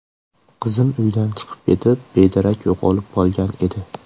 Qizim uydan chiqib ketib, bedarak yo‘qolgan edi.